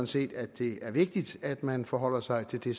set at det er vigtigt at man forholder sig til det